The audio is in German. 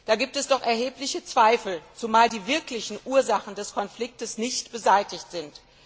Da gibt es doch erhebliche Zweifel, zumal die wirklichen Ursachen des Konflikts nicht beseitigt sind.